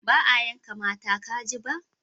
Ba a yanka mata kaji ba?